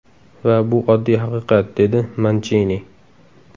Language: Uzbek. Va bu oddiy haqiqat”, - dedi Manchini.